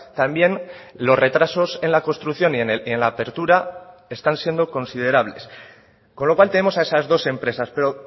también los retrasos en la construcción y en la apertura están siendo considerables con lo cual tenemos a esas dos empresas pero